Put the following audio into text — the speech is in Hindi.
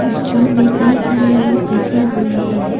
इस छोर भी कई सारे लोग बैठे हुए हैं।